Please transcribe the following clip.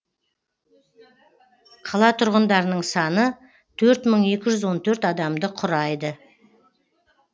қала тұрғындарының саны төрт мың екі жүз он төрт адамды құрайды